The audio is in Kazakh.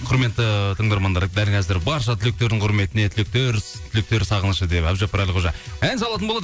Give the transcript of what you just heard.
құрметті тыңдармандар дәл қазір барша түлектердің құрметіне түлектер сағынышы деп әбдіжаппар әлқожа ән салатын болады